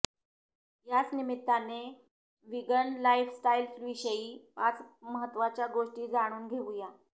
याच निमित्ताने विगन लाईफस्टाईलविषयी पाच महत्त्वाच्या गोष्टी जाणून घेऊया